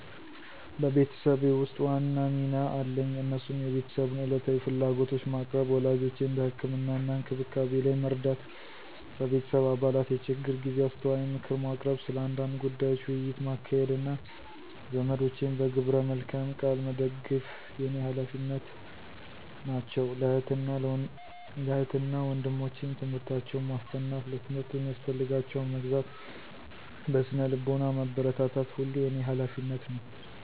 በቤተሰቤ ውስጥ ዋና ሚና አለኝ እነሱም የቤተሰቡን ዕለታዊ ፍላጎቶች ማቅረብ፣ ወላጆቼን በህክምና እና እንክብካቤ ላይ መርዳት፣ በቤተሰብ አባላት የችግር ጊዜ አስተዋይ ምክር ማቅረብ፣ ስለ አንዳንድ ጉዳዮች ውይይት ማካሄድ፣ እና ዘመዶቼን በግብረ መልካም ቃል መደግፍ የኔ ሀላፊነት ናቸው። ለእህት እና ወንድሞቸም ትምህርታቸውን ማስጠናት፣ ለትምህርት የሚያስፈልጋቸውን መግዛት፣ በስነ ልቦና ማበረታታት ሁሉ የኔ ሀላፊነት ነው።